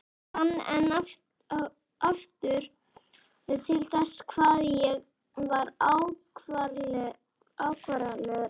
Fann enn og aftur til þess hvað ég var afkáralegur.